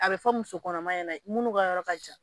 A be fɔ muso kɔnɔma ɲɛnɛ munnu ka yɔrɔ ka jan